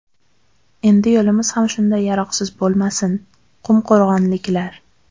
Endi yo‘limiz ham shunday yaroqsiz bo‘lmasin” qumqo‘rg‘onliklar.